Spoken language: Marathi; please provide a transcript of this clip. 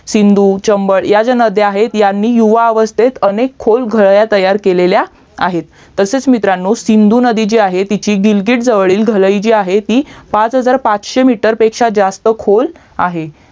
सिंधु चंबल ह्या ज्या नद्या आहेत यांनी युवा अवस्थेत अनेक खोल घळई तयार केलेल्या आहेत तसेच मित्रांनो सिंधु नदी जी आहे ती दिलगीत जवळील गालाईट जी आहे ती पाच हजार पाचशे METER पेक्षा जास्त खोल आहे